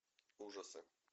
ужасы